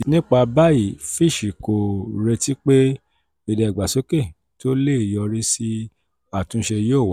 nípa báyìí fitch kò retí pé ìdàgbàsókè tó lè yọrí sí àtúnṣe yóò wáyé.